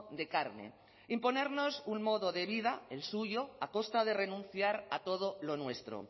de carne imponernos un modo de vida el suyo a costa de renunciar a todo lo nuestro